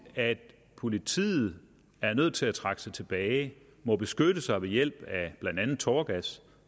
at politiet er nødt til at trække sig tilbage og må beskytte sig ved hjælp af blandt andet tåregas